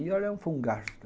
E olha, foi um gasto.